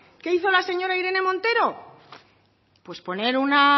qué hizo la señora irene montero pues poner una